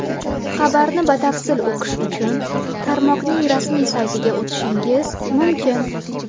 Xabarni batafsil o‘qish uchun tarmoqning rasmiy saytiga o‘tishingiz mumkin.